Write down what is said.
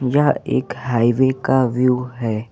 यह एक हाइवे का व्यू है।